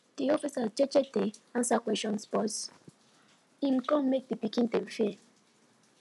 de officer jeje dey answer questions but hin gun make de pikin dem fear